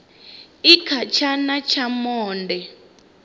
i kha tshana tsha monde